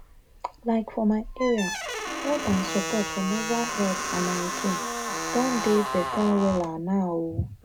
um for my area help and support for menstrual health and hygiene don better wella now. um